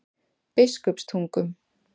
Biskupstungum